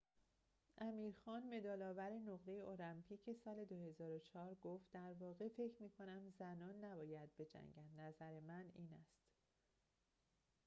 امیر خان مدال‌آور نقره المپیک سال ۲۰۰۴ گفت در واقع فکر می‌کنم زنان نباید بجنگند نظر من این است